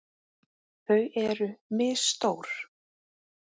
Þau eru misstór.